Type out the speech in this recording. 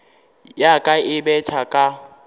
ya ka e betha ka